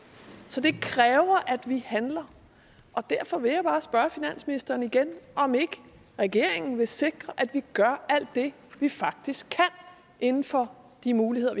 så det kræver at vi handler og derfor vil jeg bare spørge finansministeren igen om ikke regeringen vil sikre at vi gør alt det vi faktisk kan inden for de muligheder